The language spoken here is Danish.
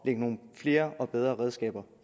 lægge nogle flere og bedre redskaber